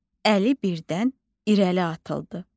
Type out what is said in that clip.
Əli birdən irəli atıldı.